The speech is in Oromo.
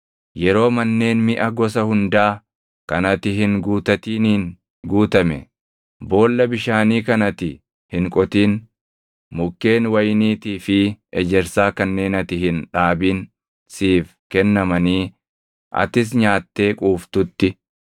yeroo manneen miʼa gosa hundaa kan ati hin guutatiniin guutame, boolla bishaanii kan ati hin qotin, mukkeen wayiniitii fi ejersaa kanneen ati hin dhaabin siif kennamanii atis nyaattee quuftutti,